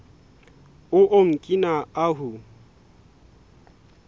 o okina ahu